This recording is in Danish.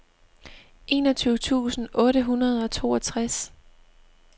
enogtyve tusind otte hundrede og toogtres